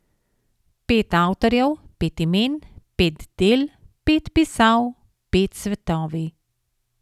Per avtorjev, pet imen, pet del, pet pisav, pet svetovij ...